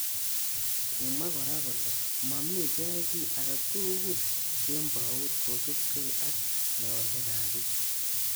Kimwa kora kole mamii keyai ki age tugul kembout kosubkei ak.meoshek.ab bik.